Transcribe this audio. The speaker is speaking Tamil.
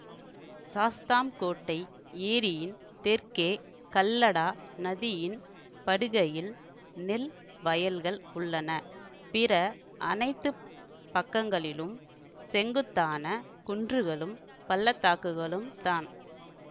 சாஸ்தாம்கோட்டை ஏரியின் தெற்கே கல்லடா நதியின் படுகையில் நெல் வயல்கள் உள்ளன பிற அனைத்து பக்கங்களிலும் செங்குத்தான குன்றுகளும் பள்ளத்தாக்குகளும் தான்